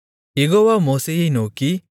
யெகோவா மோசேயை நோக்கி